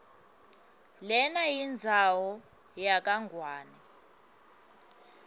lenayindzawo yakangwane